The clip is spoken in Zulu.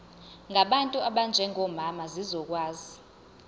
ngabantu abanjengomama zizokwazi